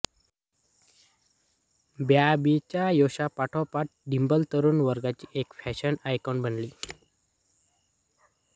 बॉबीच्या यशापाठोपाठ डिंपल तरूण वर्गाची एक फॅशन आयकॉन बनली